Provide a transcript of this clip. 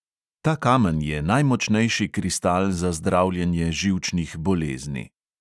Ta kamen je najmočnejši kristal za zdravljenje živčnih bolezni.